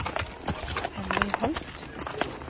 Henry Holst